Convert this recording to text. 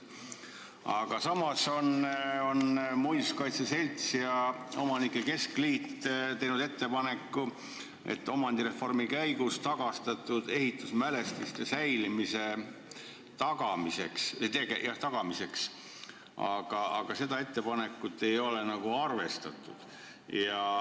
Samas on muinsuskaitse selts ja omanike keskliit teinud ettepaneku anda raha omandireformi käigus tagastatud ehitusmälestiste säilimise tagamiseks, aga seda ettepanekut ei ole arvestatud.